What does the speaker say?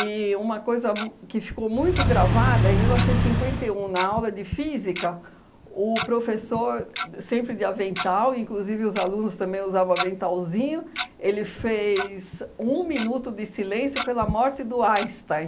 uma coisa mu que ficou muito gravada, em mil novecentos e cinquenta e um, na aula de Física, o professor, sempre de avental, inclusive os alunos também usavam aventalzinho, ele fez um minuto de silêncio pela morte do Einstein.